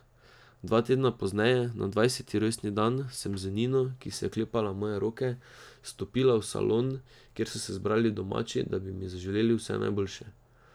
Dva tedna pozneje, na dvajseti rojstni dan, sem z Nino, ki se je oklepala moje roke, stopila v salon, kjer so se zbrali domači, da bi mi zaželeli vse najboljše.